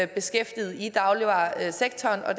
beskæftiget i dagligvaresektoren og